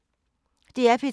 DR P3